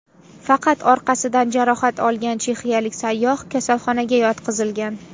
Faqat orqasidan jarohat olgan chexiyalik sayyoh kasalxonaga yotqizilgan.